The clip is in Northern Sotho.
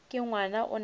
ke ngwana o na le